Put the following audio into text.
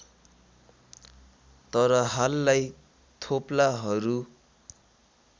तर हाललाई थोप्लाहरू